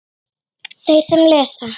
Þeir sem lesa